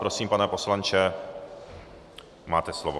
Prosím, pane poslanče, máte slovo.